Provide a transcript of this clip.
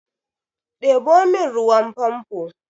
Ɗebo min ruwan famfo!